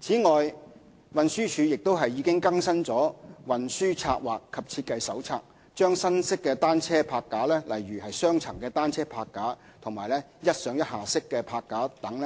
此外，運輸署亦已更新《運輸策劃及設計手冊》，將新式單車泊架，例如"雙層單車泊架"和"一上一下式泊架"等